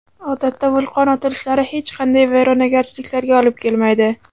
Odatda vulqon otilishlari hech qanday vayronagarchiliklarga olib kelmaydi.